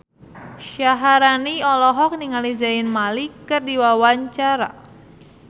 Syaharani olohok ningali Zayn Malik keur diwawancara